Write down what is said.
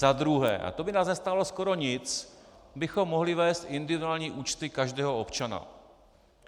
Za druhé, a to by nás nestálo skoro nic, bychom mohli vést individuální účty každého občana.